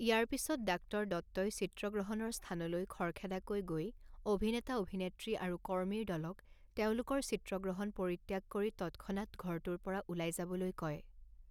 ইয়াৰ পিছত ডাঃ দত্তই চিত্ৰগ্ৰহণৰ স্থানলৈ খৰখেদাকৈ গৈ অভিনেতা অভিনেত্ৰী আৰু কৰ্মীৰ দলক তেওঁলোকৰ চিত্ৰগ্ৰহণ পৰিত্যাগ কৰি তৎক্ষণাত ঘৰটোৰ পৰা ওলাই যাবলৈ কয়।